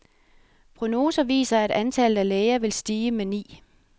Prognoser viser, at antallet af læger vil stige med ni.